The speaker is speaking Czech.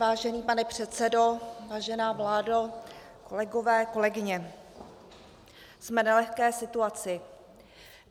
Vážený pane předsedo, vážená vládo, kolegové, kolegyně, jsme v nelehké situaci.